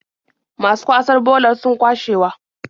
Masu kwasar bolar sun kwashewa.